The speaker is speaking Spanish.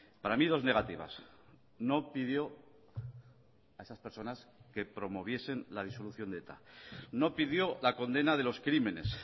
para mí dos negativas no pidió a esas personas que promoviesen la disolución de eta no pidió la condena de los crímenes